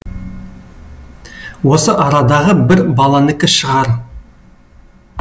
осы арадағы бір баланікі шығар